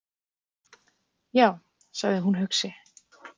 Já, sagði hún hugsi.